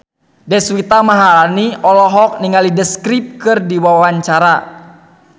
Deswita Maharani olohok ningali The Script keur diwawancara